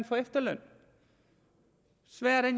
få efterløn sværere er